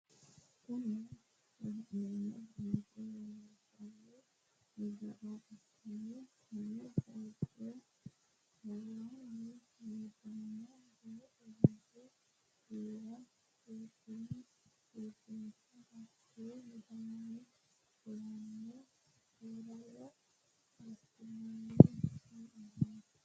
Kuni la'neemohu molliso loonsanni gara ikkanna konne bayiicho kawaani midaano booso wore giira seekkine iibinshe hatte midaanonni fulanno fooraro adhinanni he'noonni